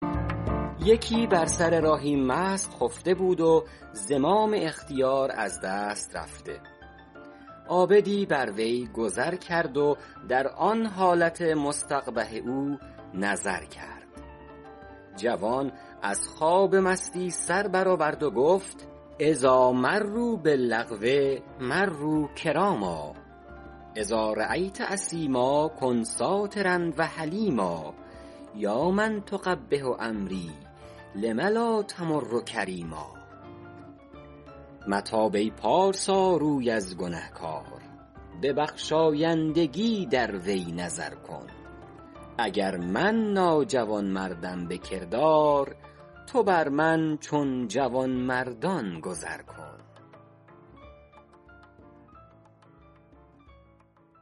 یکی بر سر راهی مست خفته بود و زمام اختیار از دست رفته عابدی بر وی گذر کرد و در آن حالت مستقبح او نظر کرد جوان از خواب مستی سر بر آورد و گفت اذاٰ مروا باللغو مروا کراما اذا رأیت اثیما کن سٰاترا و حلیما یا من تقبح امری لم لا تمر کریما متاب ای پارسا روی از گنهکار به بخشایندگی در وی نظر کن اگر من ناجوانمردم به کردار تو بر من چون جوانمردان گذر کن